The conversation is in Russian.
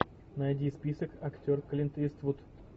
найди список актер клинт иствуд